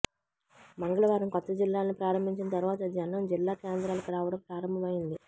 మంగళవారం కొత్త జిల్లాలను ప్రారంభించిన తర్వాత జనం జిల్లా కేంద్రాలకు రావడం ప్రారంభమైంది